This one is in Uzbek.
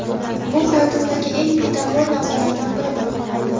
Bu hayotimdagi eng betakror lahzalardan biri bo‘lib qoldi.